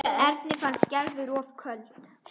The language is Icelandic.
Erni fannst Gerður of köld.